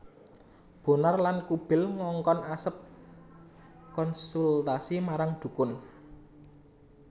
Bonar lan Kubil ngongkon Asep konsultasi marang dukun